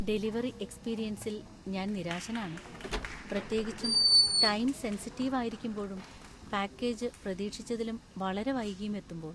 Delivery എക്സ്പീരിയൻസിൽ ഞാൻ നിരാശനാണ്, പ്രത്യേകിച്ചും ടൈം സെൻസിറ്റീവ് ആയിരിക്കുമ്പോഴും പാക്കേജ് പ്രതീക്ഷിച്ചതിലും വളരെ വൈകിയും എത്തുമ്പോൾ.